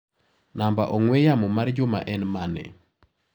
Namba ong'ue yamo mar Juma en mane?